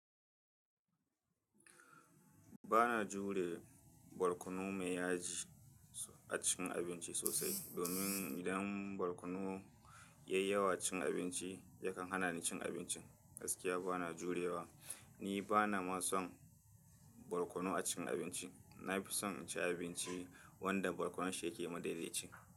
Ba na jure barkonu mai yaji a cikin abinci sosai. Domin idan barkonu ya yi yawa cikin abinci, yakan hana ni cin abincin. Gaskiya ba na jurewa. Ni ba na ma son barkonu a cikin abinci. Na fi son in ci abinci wanda barkonun shi yake madaidaci.